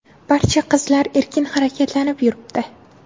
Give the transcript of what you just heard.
Barcha qizlar erkin harakatlanib yuribdi.